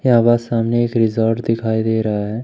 यहां सामने एक रिसॉर्ट दिखाई दे रहा है।